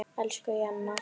Elsku Jenna.